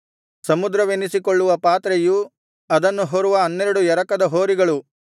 ಸಮುದ್ರವೆನಿಸಿಕೊಳ್ಳುವ ಪಾತ್ರೆಯೂ ಅದನ್ನು ಹೊರುವ ಹನ್ನೆರಡು ಎರಕದ ಹೋರಿಗಳು